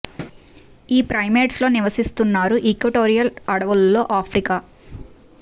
ఈ ప్రైమేట్స్ లో నివసిస్తున్నారు ఈక్వటోరియల్ అడవులలో ఆఫ్రికా